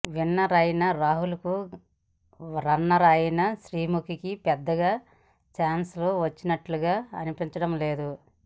winner అయిన రాహుల్కు runner అయిన శ్రీముఖికి పెద్దగా ఛాన్స్లు వస్తున్నట్లుగా అనిపించడం లేదు